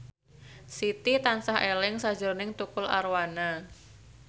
Siti tansah eling sakjroning Tukul Arwana